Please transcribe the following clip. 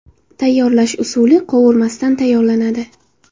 Tayyorlash usuli – qovurmasdan tayyorlanadi.